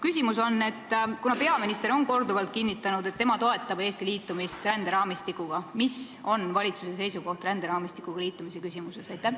Kuna peaminister on korduvalt kinnitanud, et tema toetab Eesti liitumist ränderaamistikuga, siis mis on valitsuse seisukoht ränderaamistikuga liitumise küsimuses?